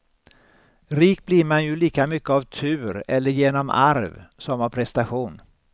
Rik blir man ju lika mycket av tur eller genom arv som av prestation.